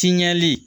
Tiɲɛli